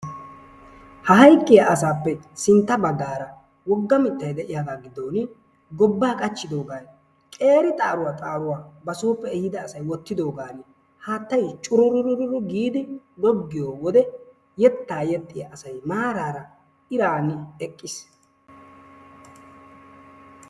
Ha hayqqiyaa asappe sintta baggaara wogga miittay de'iyaagaa giddon gobbaa qachchidoogan qeeri xaaruwaa xaruwaa ba sooppe ehidoogaa asay wottidoogan haattay curururu giidi googgiyoo wode yeettaa yeexxiyaa asay maarara iraani eqqiis.